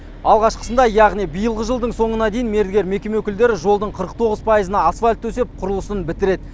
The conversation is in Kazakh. алғашқысында яғни биылғы жылдың соңына дейін мердігер мекеме өкілдері жолдың қырық тоғыз пайызына асфальт төсеп құрылысын бітіреді